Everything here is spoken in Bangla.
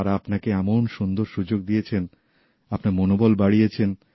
তারা আপনাকে এভাবে সুন্দর সুযোগ দিয়েছেন আপনার মনোবল বাড়িয়েছেন